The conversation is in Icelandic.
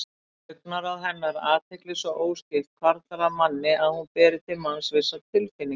Augnaráð hennar, athygli svo óskipt, hvarflar að manni að hún beri til manns vissar tilfinningar.